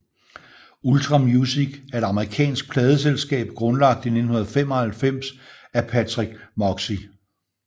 Ultra Music er et amerikansk pladeselskab grundlagt i 1995 af Patrick Moxey